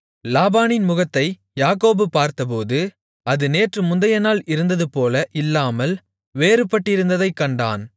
லாபானின் முகத்தை யாக்கோபு பார்த்தபோது அது நேற்று முந்தையநாள் இருந்ததுபோல இல்லாமல் வேறுபட்டிருந்ததைக் கண்டான்